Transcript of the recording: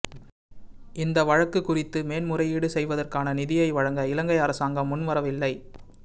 இந்த வழக்கு குறித்து மேன்முறையீடு செய்வதற்கான நிதியை வழங்க இலங்கை அரசாங்கம் முன்வரவில்லை